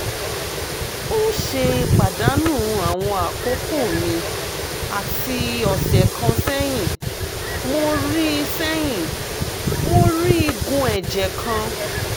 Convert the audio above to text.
n ṣe padanu awọn akoko mi ati ọsẹ kan sẹyin mo rii sẹyin mo rii igun ẹjẹ kan